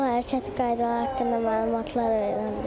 Yol hərəkəti qaydaları haqqında məlumatlar öyrəndim.